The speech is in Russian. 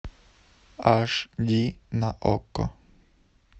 аш ди на окко